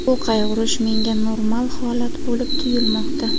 Bu qayg‘urish menga normal holat bo‘lib tuyulmoqda.